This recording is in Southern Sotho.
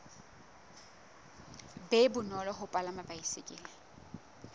be bonolo ho palama baesekele